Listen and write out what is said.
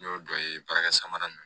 N y'o dɔ ye baarakɛ samara nunnu ye